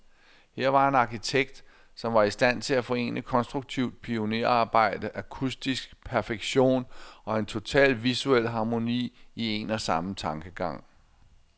Her var en arkitekt, som var i stand til at forene konstruktivt pionerarbejde, akustisk perfektion, og en total visuel harmoni, i en og samme tankegang.